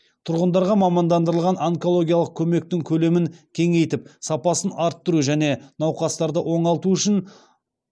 тұрғындарға мамандандырылған онкологиялық көмектің көлемін кеңейтіп сапасын арттыру және науқастарды оңалту үшін